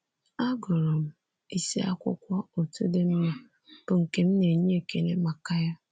Agụrụ m isi akwụkwọ otu dị mma, bụ́ nke m na-enye ekele maka ya.